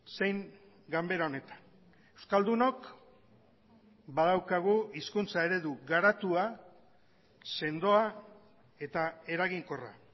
zein ganbera honetan euskaldunok badaukagu hizkuntza eredu garatua sendoa eta eraginkorra